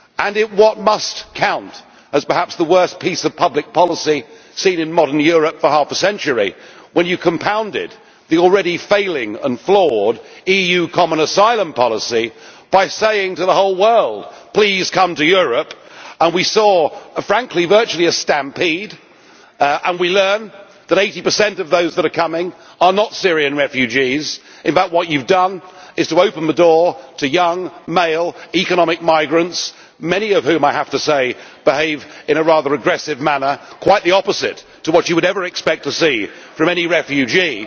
In what must count as perhaps the worst piece of public policy seen in modern Europe for half a century, when you compounded the already failing and flawed EU common asylum policy by saying to the whole world please come to Europe' and we saw, frankly, virtually a stampede, and we learn that 80 of those that are coming are not Syrian refugees in fact what you have done is to open the door to young, male, economic migrants, many of whom, I have to say, behave in a rather aggressive manner, quite the opposite to what you would ever expect to see from any refugee.